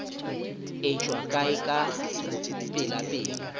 e tšwa kae ka pelapela